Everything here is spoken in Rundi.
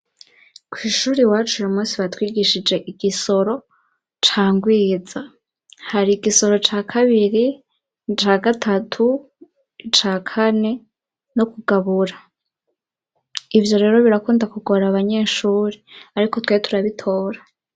Kw'ishuri iwacu uyumunsi batwigishije igisoro ca ngwiza. Hari igisoro ca kabiri, ca gatatu, ca kane no kugabura. Ivyo rero birakunda kugora abanyeshuri ariko twe turabitora.